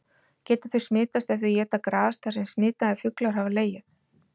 Geta þau smitast ef þau éta gras þar sem smitaðir fuglar hafa legið?